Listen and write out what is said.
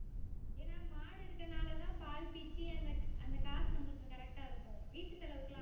ஏனா மாடு இருக்கிறனாலதான் பால் பீச்சி அந்த அந்த காசு நம்மளுக்கு correct ஆ இருக்கும். வீட்டு செலவுக்கு எல்லாம்